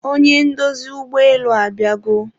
onye ndozi ụgbọelu abịago